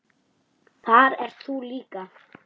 Þar ert þú líka.